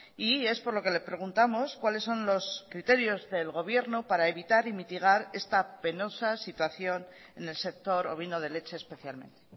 y es por lo que le preguntamos cuáles son los criterios del gobierno para evitar y mitigar esta penosa situación en el sector ovino de leche especialmente